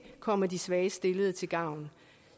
komme de svagest stillede til gavn